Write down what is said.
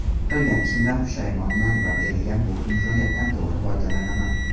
Qilgan ishimdan pushaymonman va berilgan bu imkoniyatdan to‘g‘ri foydalanaman.